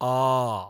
आ